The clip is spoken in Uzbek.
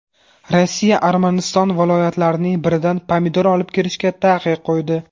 Rossiya Armaniston viloyatlarining biridan pomidor olib kirishga taqiq qo‘ydi.